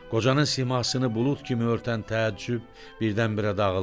Qocanın simasını bulud kimi örtən təəccüb birdən-birə dağıldı.